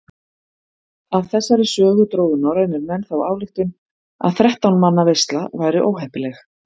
Af þessari sögu drógu norrænir menn þá ályktun að þrettán manna veisla væri óheppileg.